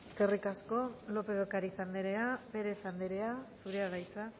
eskerrik asko lópez de ocariz andrea pérez andrea zurea da hitza